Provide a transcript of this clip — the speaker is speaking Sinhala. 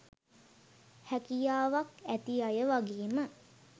හැකියාවක් ඇති අය වගේම